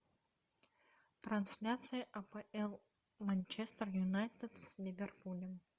трансляция апл манчестер юнайтед с ливерпулем